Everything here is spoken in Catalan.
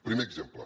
primer exemple